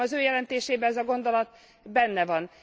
Szerintem az ő jelentésében ez a gondolat benne van.